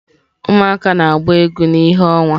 Ụmụaka na-agba egwu na ìhè ọnwa.